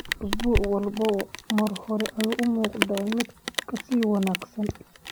Isbuuc walba mar hore ayuu u muuqdaa mid ka sii wanaagsan.